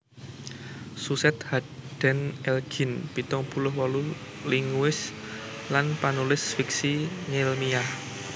Suzette Haden Elgin pitung puluh wolu linguis lan panulis fiksi ngèlmiah